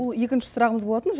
ол екінші сұрағымыз болатын